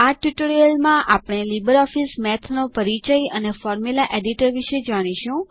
આ ટ્યુટોરીયલમાં આપણે લીબરઓફીસ મેથ નો પરિચય અને ફોર્મ્યુલા એડિટર વિષે જાણીશું